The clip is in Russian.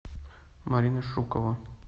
марина шукова